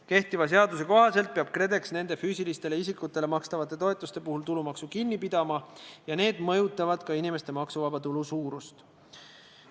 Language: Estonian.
Kehtiva seaduse kohaselt peab KredEx nende füüsilistele isikutele makstavate toetuste puhul tulumaksu kinni pidama ja need mõjutavad ka inimeste maksuvaba tulu suurust.